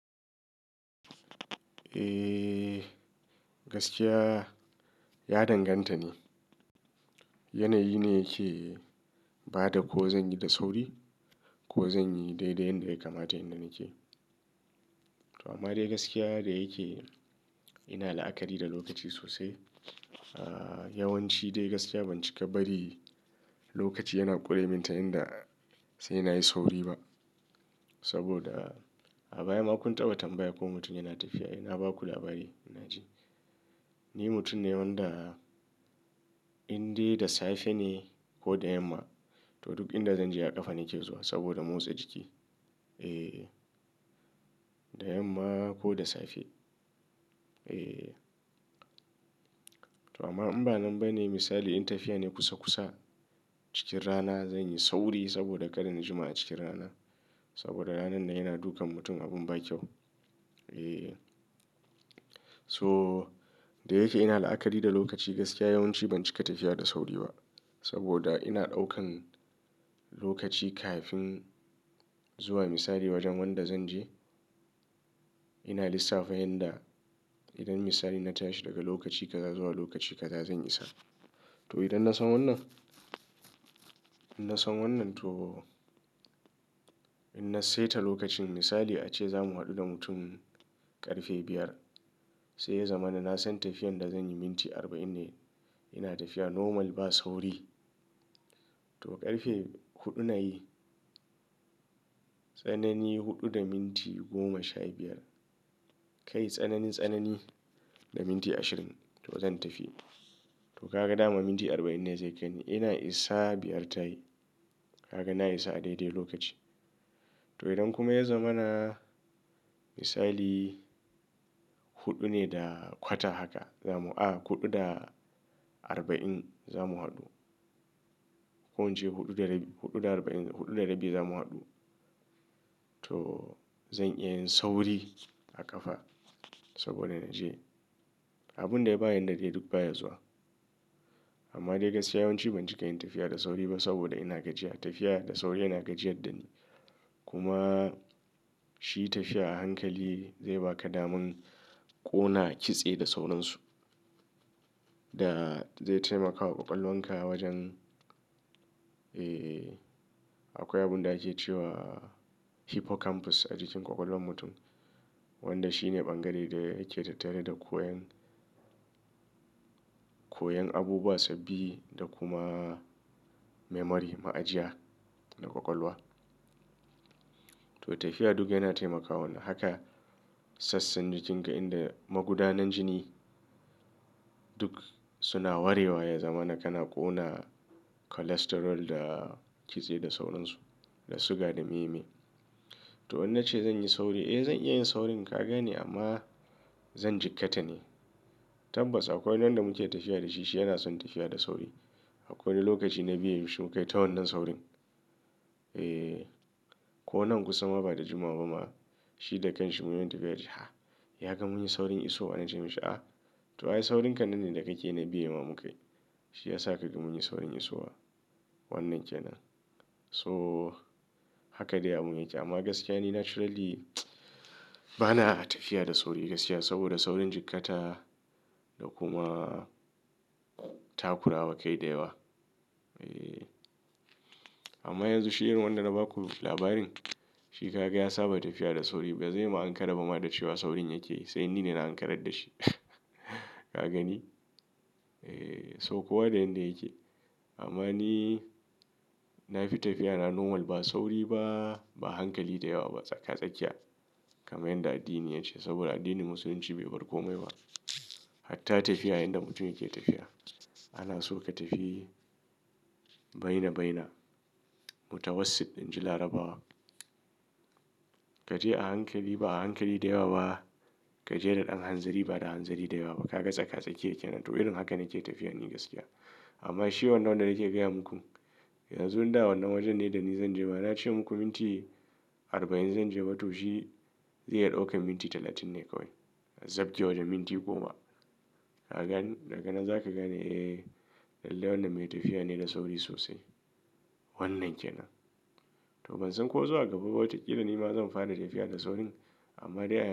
Eh gaskiya ya danganta ne. Yanayi ne yake ba da ko zan yi da sauri ko zan yi dai da yadda yake kamata, inda nake. Amma dai gaskiya da yake ina la'akari da lokaci sosai. Yawanci dai gaskiya ban cika bari lokaci yana ƙure min ta yanda sai na yi sauri ba. Saboda a baya ma kun tabbatar baya ko mutum yana tafiya, ai na ba ku labari ina ji. Ni mutum ne wanda indai da safe ne ko da yamma, to duk inda zan je a ƙafa nake zuwa saboda motsa jiki. Eh, da yamma ko da safe. Eh, to amma in ba nan ba ne misali in tafiya ne kusa kusa cikin rana zan yi sauri saboda ƙarin jima'a cikin rana. Saboda ranan na yana dukan mutum abin ba kyau. Eh, so da yake ina la'akari da lokaci gaskiya yawanci ban cika tafiya da sauri ba. Saboda ina ɗaukan lokaci kafin zuwa misali wajen wanda zan je. Ina lissafa yanda idan misali na tashi daga lokaci kaza zuwa lokaci kaza zan isa. To idan na san wannan, idan na san wannan to inna saita lokacin misali ace zamu haɗu da mutum ƙarfe biyar. Sai ya zama na san tafiyar da zan yi minti arba'in ne. Ina tafiya normal ba sauri. To ƙarfe huɗu na yi, tsanani huɗu da minti goma sha biyar. Kai tsanani tsanani da minti ashirin to zan tafi. To ka ga dama minti arba'in ne zai kai ni. Ina isa biyar tayi. Ka ga na isa a daidai lokaci. To idan kuma ya zama na misali huɗu ne da kwata haka zamu a huɗu da arba'in zamu haɗu. Ko incje huɗu da huɗu da arba'in huɗu da rabi zamu haɗu. To zan iya yin sauri a ƙafa saboda na je abun da ya bayar da dai duk baya zuwa. Amma dai gaskiya yawanci ban cika yin tafiya da sauri ba saboda ina gajiya. Tafiya da sauri yana gajiya dani. Kuma shi tafiya a hankali zai ba ka damun ƙona kitse da saurinsu da zai taimakawa ƙwaƙwalanka wajen. Eh akwai abun da ake cewa hippocampus a jikin ƙwaƙwalwan mutum wanda shine ɓangare da yake tattare da koyon, koyon abubuwa sababi da kuma memory ma'ajiya na ƙwaƙwalwa. To tafiya duk yana taimakawa haka. Sassan jikin ga inda magudanin jini duk suna warewa ya zama na kana ƙona cholesterol da kitse da saurinsu da suga da meme. To in na ce zan yi sauri, eh zan iya yin saurin ka gani amma zan jikkata ne. Tabbas akwai wanda muke tafiya da shi shi yana son tafiya da sauri. Akwai lokaci na biya shi mu kai ta wannan saurin. Eh ko nan kusa ma ba da jimawa ba ma shi da kanshi muyi tafiya shi ha! Ya kam mun yi saurin isowa na ce masa a to ai saurin kanannin da kake nayi biya ma mu kai shi ya sa ka ga mun yi saurin isowa wannan kenan. So haka dai abun yake. Amma gaskiya ni naturally bana tafiya da sauri gaskiya saboda saurin jikkata da kuma takurawa kai da yawa. Eh amma yanzu shirin wanda na ba ku labarin shi ka ga ya saba tafiya da sauri ba zai ma ankaraba ma da cewa saurin yake yi sai ni ne na ankarar da shi. Ka gani? Eh so kuwa da yanda yake. Amma ni na fi tafiya na normal ba sauri ba, ba a hankali da yawa ba. Tsaka tsakiya kamar yadda addini ya ce. Saboda addinin Musulunci bai bar kome ba. Hatta tafiya inda mutum yake tafiya. Ana so ka tafi bainabaina. Mutawassit inji Larabawa. Ka je a hankali ba a hankali da yawa ba. Ka je da ɗan hanzari ba da hanzari da yawa ba. Ka ga tsaka tsakiye kenan. To irin haka nake tafiya ni gaskiya. Amma shi wanda wanda nake gaya muku yanzun da wannan wajen ne da ni zan je. Ma na ce muku minti arba'in zan je ba to shi zai ɗauke minti talatin ne kawai. Zabcewa da minti goma. Ka gan--daga nan za ka gan eh lallai wannan mai tafiya ne da sauri sosai. Wannan kenan. To ban san ko zuwa gaba bautakila ni ma zan fara tafiya da saurin amma dai.